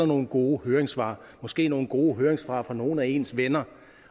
nogle gode høringssvar måske nogle gode høringssvar fra nogle af ens venner